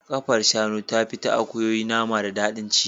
Kafar shanu tafi ta akuyoyi nama da daɗin ci.